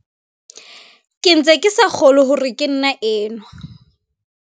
"Ke ntse ke sa kgolwe hore ke nna enwa."